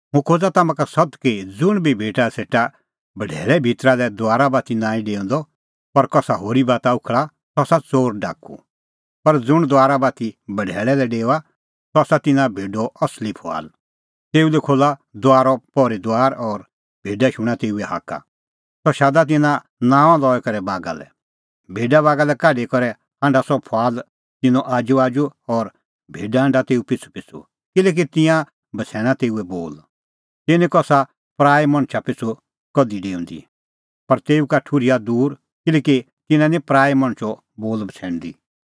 तिंयां निं कसा पराऐ मणछा पिछ़ू कधि डेऊंदी पर तेऊ का ठुर्हा तिंयां दूर किल्हैकि तिंयां निं पराऐ मणछो बोल बछ़ैणदी